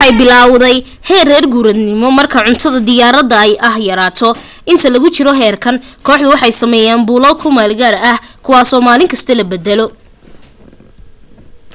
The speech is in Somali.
kooxdu waxay biloowdaa heer reer guuraanimo marka cuntada diyaarka ah yaraato inta lagu jiro heerkan kooxdu waxay sameysaa buulal ku meelgaara kuwaaso maalin kasta la beddelo